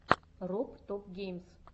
роб топ геймс